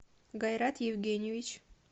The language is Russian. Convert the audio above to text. гайрат евгеньевич